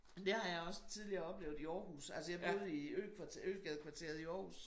Men det har jeg også tidligere oplevet i Aarhus altså jeg boede i økvarter øgadekvarteret i Aarhus